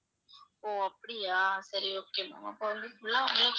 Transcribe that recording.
ஓ அப்படியா சரி okay ma'am அப்ப வந்து full ஆ உங்களுக்கு